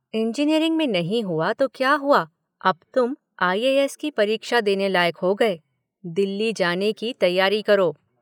Engineering में नहीं हुआ तो क्या हुआ, अब तुम आईएएस की परीक्षा देने लायक हो गए, दिल्ली जाने की तैयारी करो?